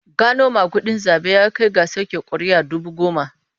Gano magudin zabe ya kai ga soke kuri'u dubu goma.